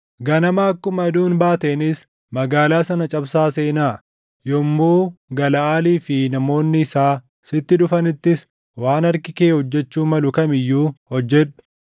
Ganama akkuma aduun baateenis magaalaa sana cabsaa seenaa. Yommuu Galaʼaalii fi namoonni isaa sitti dhufanittis waan harki kee hojjechuu malu kam iyyuu hojjedhu.”